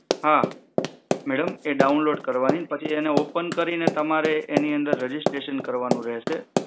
હા મેડમ એ ડાઉનલોડ કરવાનીને પછી એને ઓપન કરીને એની અંદર તમારે રેજીસ્ટ્રેશન કરવાનું રહેશે.